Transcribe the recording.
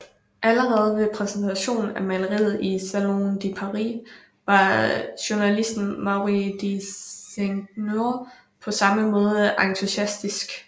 Allerede ved præsentationen af maleriet i Salon de Paris var journalisten Maurice de Seigneur på samme måde entusiastisk